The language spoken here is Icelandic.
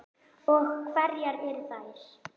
Og hverjar eru þær?